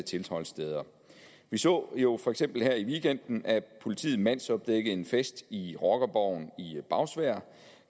tilholdssteder vi så jo for eksempel her i weekenden at politiet mandsopdækkede en fest i rockerborgen i bagsværd